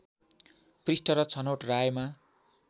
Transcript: पृष्ठ र छनौट रायमा